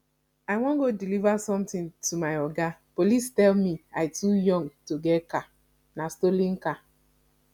i wan go deliver something to my oga police tell me i too young to get car nah stolen car